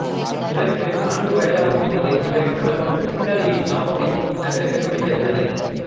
இவருக்கு நான்கு வயதாகும் போது இவரின் குடும்பம் இத்தாலியின் நாபொலி நகருக்கு குடி பெயர்ந்தது